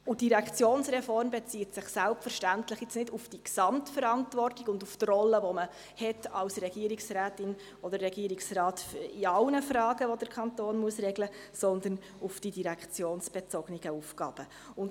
Die Direktionsreform bezieht sich jetzt selbstverständlich nicht auf diese Gesamtverantwortung und auf die Rolle, die man als Regierungsrätin oder Regierungsrat in allen Fragen hat, die der Kanton regeln muss, sondern auf die direktionsbezogenen Aufgaben.